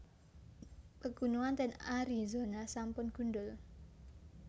Pegunungan ten Arizona sampun gundhul